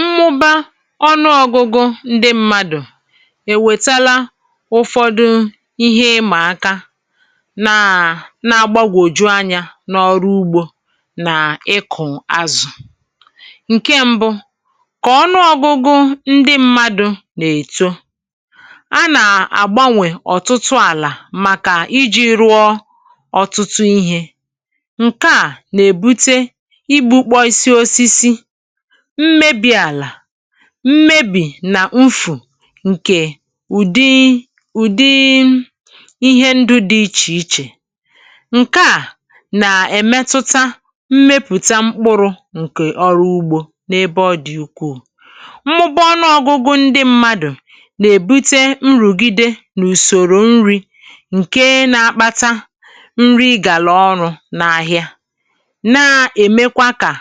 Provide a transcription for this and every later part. Mmụba ọnụọgụgụ ndị mmadụ̀ èwètala ụfọdụ ihe ịmà aka, nà, nà-agbagwòju anyȧ n’ọrụ ugbȯ nà ịkụ̀ azụ̀. Ǹkẹ mbụ, kà ọnụọgụgụ ndị mmadụ̇ nà-èto, a nà-àgbanwè ọ̀tụtụ àlà màkà iji̇ rụọ ọ̀tụtụ ihė, nke a n'ebute igbukpọsị osisi, mmebi̇ àlà, mmebì nà ufù ǹkè ụ̀dị, ụ̀dị ihe ndụ dị̇ ichè-ichè. Ǹke à nà-èmetuta mmepùta mkpụrụ̇ ǹkè ọrụ ugbȯ n’ebe ọ̇ dị̀ ukwù. Mmụba ọnụọgụgụ ndị mmadụ̀ nà-èbute nrùgide n’ùsòrò nri, ǹkè na-akpata nri ịgàlà ọrụ̇ n’ahịa, na-èmekwa kà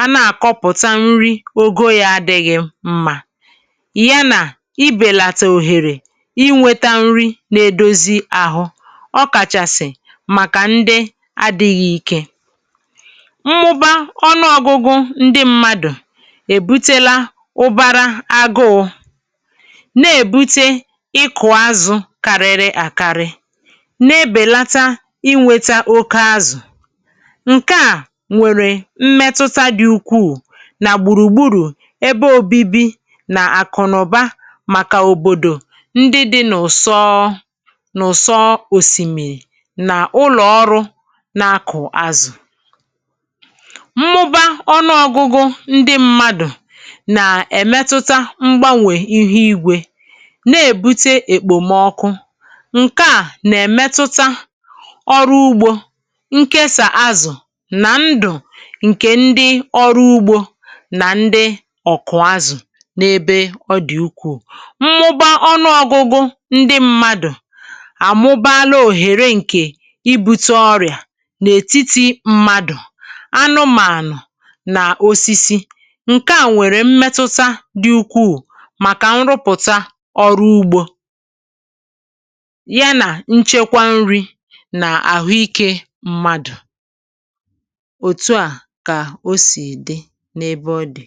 à na-akọpụta nri ogo yȧ adịghị mma, yana ibèlata òhèrè inweta nri̇ nà-edozi ahụ, ọkàchàsị̀ màkà ndị adịghị ike. Mmụba ọnụọgụgụ ndị mmadụ̀ èbutela ụbara agụụ, na-èbute ịkụ̀ azụ̀ kariri àkarị, na-ebèlata inweta oke azụ̀. Ǹke à nwèrè mmetụta dị̀ ukwuù na gburugburu ebe òbibi nà-àkụ̀nụ̀ba màkà òbòdò ndị dị̇ n’ụ̀sọ, n’ụ̀sọ òsìmìrì, n’ụlọ̀ ọrụ na-akụ̀ azụ̀. Mmụba ọnụọ̇gụ̇gụ̇ ndị mmadụ̀ nà-èmetụta mgbanwè ihe igwė, na-èbute èkpòmọkụ. Ǹke à nà-èmetụta ọrụ ugbȯ, ǹkèsa azụ̀, nà ndụ̀ nke ndị ọrụ ugbo na ndị ọkụ azụ n’ebe ọ dị̀ ukwuù. Mmụba ọnụọgụgụ ndị mmadụ̀ àmụbala òhèrè ǹkè ibutr ọrịà n’ètitì mmadụ̀, anụmànụ̀ nà osisi. Ǹke à nwèrè mmetuta dị ukwuù màkà nrụpụ̀ta ọrụ ugbȯ, ya nà nchekwa nri nà àhụikė mmadụ̀. Otu a ka osi dị n'ebe ọdị.